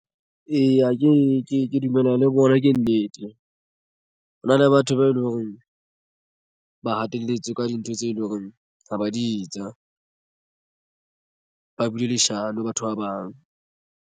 Eya, ke dumellana le bona ke nnete. Ho na le batho ba eleng hore ba hatelletswe ka dintho tse leng hore ha ba di etsa ba buile leshano batho ba bang.